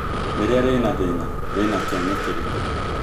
rĩrĩa rĩna thina rĩ na kĩene kĩrikũ